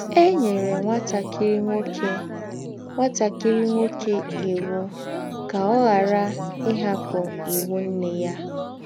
È nyèrè ńwátàkìrí nwókè ńwátàkìrí nwókè ìwù̄ kà ọ̀ ghàrà ‘ íhapụ́ ìwù̄ nnè yà. ’